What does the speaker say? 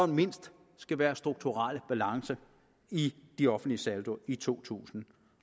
mindst skal være strukturel balance i de offentlige saldi i to tusind